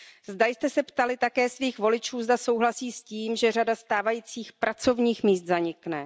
Zdali jste se ptali také svých voličů, zda souhlasí s tím, že řada stávajících pracovních míst zanikne.